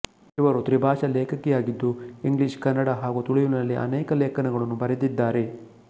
ಇವರು ತ್ರಿಭಾಷಾ ಲೇಖಕಿಯಾಗಿದ್ದು ಇಂಗ್ಲಿಷ್ಕನ್ನಡ ಹಾಗು ತುಳುವಿನಲ್ಲಿ ಅನೇಕ ಲೇಖನಗಳನ್ನು ಬರೆದಿದ್ದಾರೆ